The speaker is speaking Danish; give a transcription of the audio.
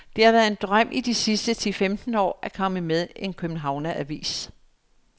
Det har været en drøm de sidste ti femten år at komme med en københavneravis.